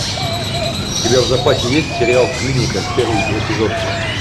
у тебя в запасе есть сериал клиника первый эпизод